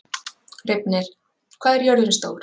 Reifnir, hvað er jörðin stór?